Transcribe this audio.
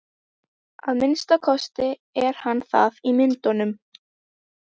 Að minnsta kosti er hann það í myndunum.